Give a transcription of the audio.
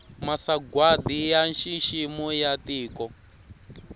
masagwati ya nxiximo ya tiko